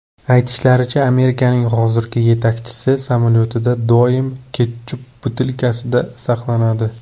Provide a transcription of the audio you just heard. Aytishlaricha, Amerikaning hozirgi yetakchisi samolyotida doim ketchup butilkasi saqlanadi.